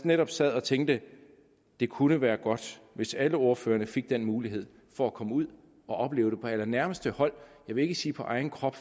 netop sad og tænkte det kunne være godt hvis alle ordførerne fik den mulighed for at komme ud og opleve det på allernærmeste hold jeg vil ikke sige på egen krop